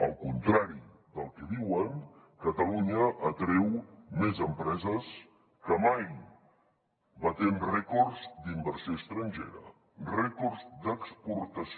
al contrari del que diuen catalunya atreu més empreses que mai batent rècords d’inversió estrangera rècords d’exportació